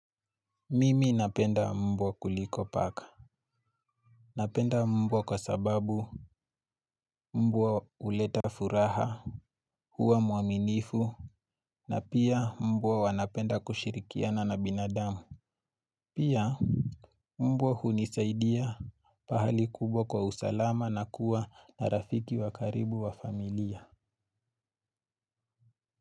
Mimi napenda mbwa kuliko paka. Napenda mbwa kwa sababu mbwa uleta furaha. Huwa muaminifu na pia mbwa wanapenda kushirikiana na binadamu. Pia mbwa hunisaidia pahali kubwa kwa usalama na kuwa na rafiki wakaribu wa familia.